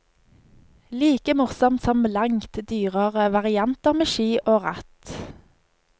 Like morsomt som langt dyrere varianter med ski og ratt.